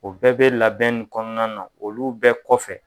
O bɛɛ bɛ labɛn nin kɔnɔna na olu bɛɛ kɔfɛ.